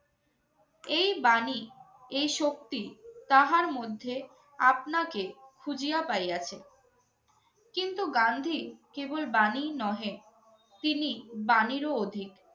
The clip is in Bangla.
এই বাণী, এই শক্তি তাহার মধ্যে আপনাকে খুঁজিয়া পাইয়াছে। কিন্তু গান্ধী কেবল বাণীই নহে, তিনি বাণীরও অধিক।